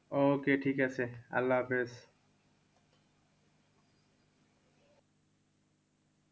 Okay ঠিকাছে আল্লা হাফিজ।